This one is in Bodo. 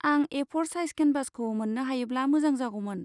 आं ए फ'र साइज केनभासखौ मोन्नो हायोब्ला मोजां जागौमोन।